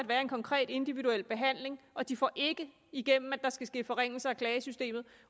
være en konkret individuel behandling og de får ikke igennem at der skal ske forringelser af klagesystemet